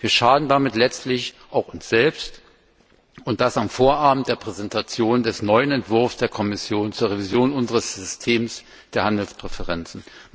Wir schaden damit letztlich auch uns selbst, und das am Vorabend der Präsentation des neuen Entwurfs der Kommission zur Revision unseres Systems der Handelspräferenzen.